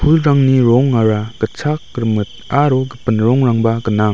pulrangni rongara gitchak rimit aro gipin rongrangba gnang.